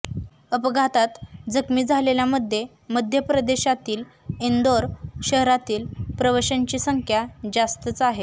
अपघातात जखमी झालेल्यांध्ये मध्यप्रदेशातील इंदौर शहरातील प्रवाशांची संख्या जास्त आहे